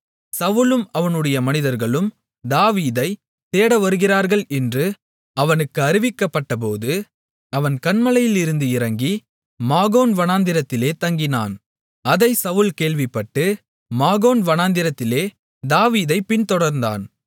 சவுலும் அவனுடைய மனிதர்களும் தாவீதைத் தேடவருகிறார்கள் என்று அவனுக்கு அறிவிக்கப்பட்டபோது அவன் கன்மலையிலிருந்து இறங்கி மாகோன் வனாந்திரத்திலே தங்கினான் அதை சவுல் கேள்விப்பட்டு மாகோன் வனாந்தரத்திலே தாவீதைப் பின்தொடர்ந்தான்